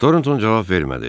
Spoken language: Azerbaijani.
Toronton cavab vermədi.